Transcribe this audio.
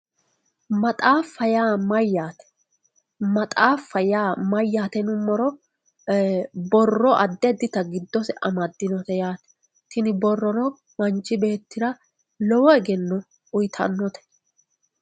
maxaaffa yaa mayyaate yinummoro ee borro addi addita giddose amaddinote yaate tini borrono manchi beettira lowo egenno uyiitannote.